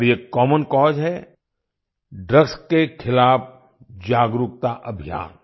और ये common cause है ड्रग्स के खिलाफ जागरूकता अभियान